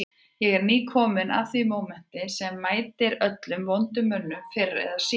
Ég er kominn að því mómenti sem mætir öllum vondum mönnum fyrr eða síðar